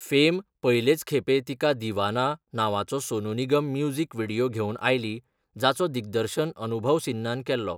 Fame पयलेच खेपे तिका दीवाना नांवाचो सोनू निगम म्युझिक व्हिडियो घेवन आयली, जाचो दिग्दर्शन अनुभव सिन्हान केल्लो.